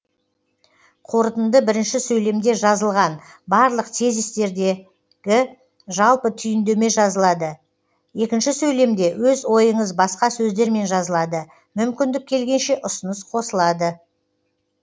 қорытынды бірінші сөйлемде жазылған барлық тезистердерде жалпы түйіндеме жазылады екінші сөйлемде өз ойыңыз басқа сөздермен жазылады мүмкіндік келгенше ұсыныс қосылады